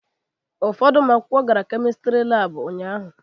Ụfọdụ ụmụ akwụkwọ gara Kemistri Laabụ ụnyaahụ.